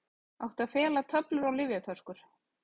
Átti að fela töflur og lyfjaflöskur